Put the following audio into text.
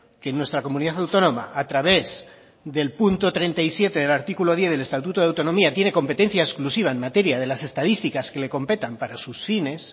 que en nuestra comunidad autónoma a través del punto treinta y siete del artículo diez del estatuto de autonomía tiene competencia exclusiva en materia de las estadísticas que le competan para sus fines